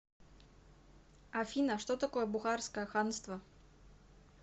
афина что такое бухарское ханство